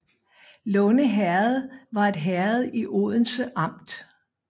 Lunde Herred var et herred i Odense Amt